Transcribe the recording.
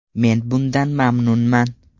Men bundan mamnunman.